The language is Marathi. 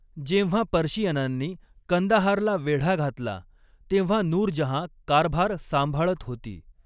जेव्हा पर्शियनांनी कंदाहारला वेढा घातला, तेव्हा नूर जहाँ कारभार सांभाळत होती.